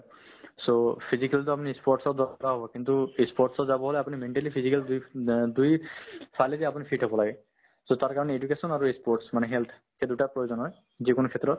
so, physical তো আমি ই sports ত দৰকাৰ হ'ব কিন্তু ই sports ত যাবলৈ আপুনি mentally physically দুই অ দুই ফালেদি আপুনি fit হ'ব লাগে so তাৰকাৰণে education আৰু ই sports মানে health এই দুটা প্ৰয়োজন হয় যিকোনো ক্ষেত্ৰত